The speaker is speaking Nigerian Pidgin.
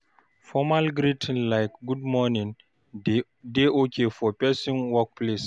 Formal greeting like "good morning" dey okay for person work place